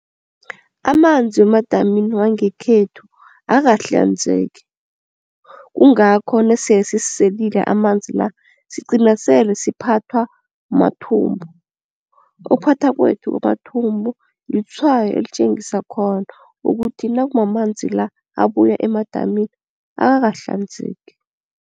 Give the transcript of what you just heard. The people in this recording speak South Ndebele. Amanzi wemadamini wangekhethu akakahlanzeki kungakho nasele sesiselile amanzi la sigcina sele siphathwa mathumbu. Ukuphathwa kwethu kwamathumbu litshwayo elitjengisa khona ukuthi nakumamanzi la abuya emadamini akakahlanzeki.